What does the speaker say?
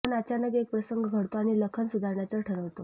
पण अचानक एक प्रसंग घडतो आणि लखन सुधारण्याचं ठरवतो